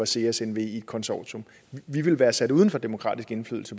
seas nve konsortium vi ville være sat uden for demokratisk indflydelse